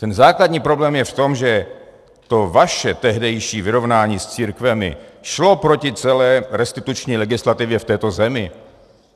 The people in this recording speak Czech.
Ten základní problém je v tom, že to vaše tehdejší vyrovnání s církvemi šlo proti celé restituční legislativě v této zemi.